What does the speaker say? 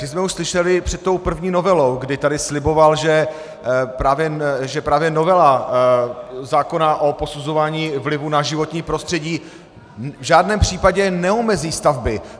Ty jsme už slyšeli před tou první novelou, kdy tady sliboval, že právě novela zákona o posuzování vlivu na životní prostředí v žádném případě neomezí stavby.